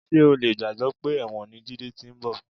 Ṣé o lè gbàgbé pé ẹ̀wọ̀n ni Jídé ti ń bọ̀?